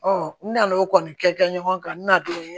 n nan'o kɔni kɛ ɲɔgɔn kan n nana don